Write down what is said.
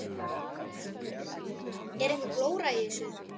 Kristján: Er einhver glóra í þessu?